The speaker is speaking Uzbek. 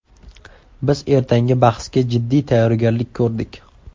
Biz ertangi bahsga jiddiy tayyorgarlik ko‘rdik.